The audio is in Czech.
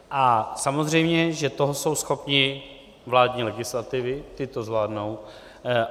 A samozřejmě, že toho jsou schopni vládní legislativy, ty to zvládnou.